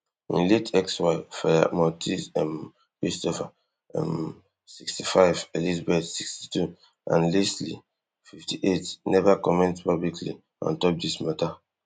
im late ex wife feya maltese um christopher um sixty-five elizabeth sixty-two and lesli fifty-eight neva comment publicly on top dis mata